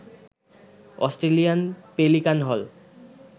Australian pelican হল